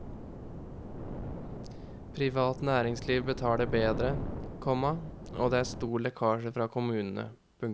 Privat næringsliv betaler bedre, komma og det er stor lekkasje fra kommunene. punktum